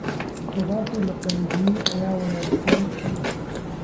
Khudaarta la qalajiyey ayaa wanaagsan.